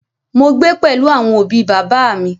Mo gbé pẹ̀lú àwọn òbi bàbá à mi.